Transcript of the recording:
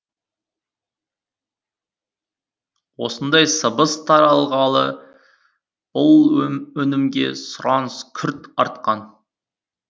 осындай сыбыс тарағалы бұл өнімге сұраныс күрт артқан